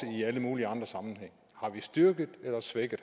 i alle mulige andre sammenhænge har vi styrket eller svækket